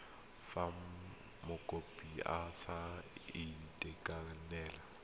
fa mokopi a sa itekanela